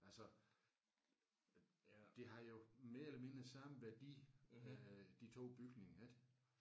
Altså det har jo mere eller mindre samme værdi øh de 2 bygninger ik